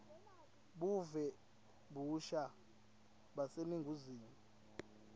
buve kabusha baseningizimu